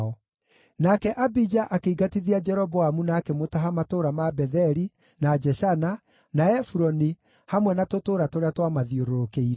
Nake Abija akĩingatithia Jeroboamu na akĩmũtaha matũũra ma Betheli, na Jeshana, na Efuroni hamwe na tũtũũra tũrĩa twamathiũrũrũkĩirie.